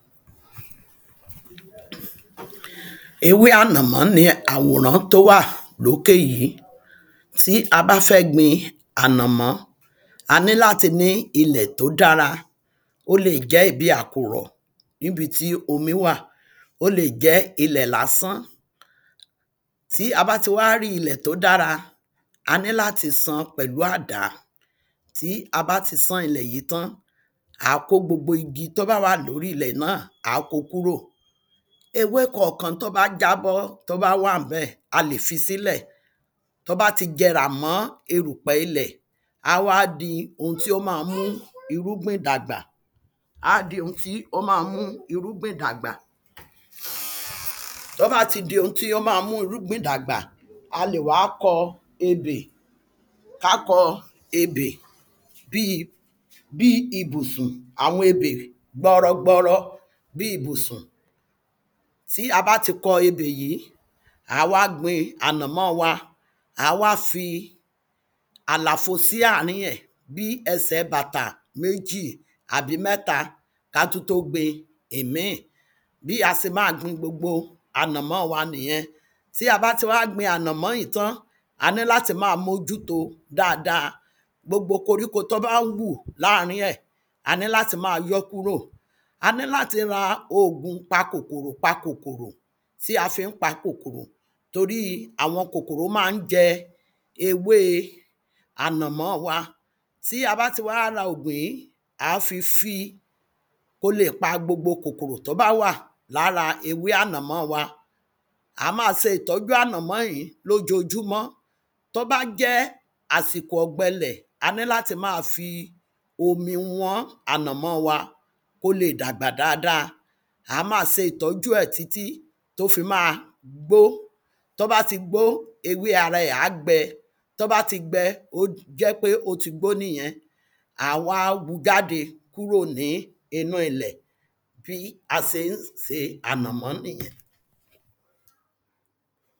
ewé ànàmọ́ ni àwòrán tó wà lókè yìí Tí a bá fẹ́ gbin ànàmọ́ a ní láti ní ilẹ̀ tó dára ó le jẹ́ ibi àkùrọ̀ níbi tí omi wà ó le jẹ́ ilẹ̀ lásán. Tí a bá ti wá rí ilẹ̀ tó dára a ní láti sán pẹ̀lú àdá tí a bá ti sán ilẹ̀ yìí tán à á kó gbogbo igi tó wà lórí ilẹ̀ náà á kó kúrò. ewé kọ̀kan tó bá jábọ́ tó bá wà lórí ẹ̀ a lè fi sílẹ̀ tó bá ti jẹrà mọ́ erùpẹ̀ ilẹ̀ á wá di ohun tí ó má mú irúgbìn dàgbà á di ohun tí ó má mú irúgbìn dàgbà. Tó bá ti di ohun tí ó má mú irúgbìn dàgbà a lè wá kọ ebè ká kọ ebè bí bí ibùsùn àwọn ebè gbọrọ gbọrọ bí ibùsùn tí a bá ti kọ ebè yìí à á wá gbin ànàmọ́ wa à á wá fi àlàfo sí àárín ẹ̀ bí ẹsẹ̀ bàtà méjì àbí mẹ́ta ká tún tó gbin ìmí bí a se má gbin gbogbo ànàmọ́ wa nìyẹn. Tí a bá ti wá gbin ànàmọ́ yìí tán a ní láti má mójú tó dáada gbogbo koríko tó ń hù láàrin ẹ̀ a ní láti má yọ́ kúrò a ní láti pa òògùn pa kòkòrò pa kòkòrò tí á fi pa kòkòrò tórí àwọn kòkòrò má ń jẹ ewé ànàmọ́ wa tí a bá ti wá ra òògùn yìí ó le pa gbogbo kòkòrò tó bá wà lára ewé ànàmọ́ wa a má se ìtọ́jú ànàmọ́ yìí lójojúmọ́ tó bá jẹ́ àsìkò ọ̀gbẹ ilẹ̀ a ní láti má fi omi wọ́n ànàmọ́ wa kó le dàgbà dáada à á má se ìtọ́jú ẹ̀ títí ó fi má gbó tó bá ti gbó ewé ara ẹ̀ á gbẹ tó bá ti gbẹ a jẹ́ pé ó ti gbó nìyẹn à á wá hú jáde kúrò ní inú ilẹ̀ bí a se ń se ànàmọ́ nìyẹn.